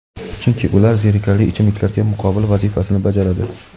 chunki ular zerikarli ichimliklarga muqobil vazifasini bajaradi.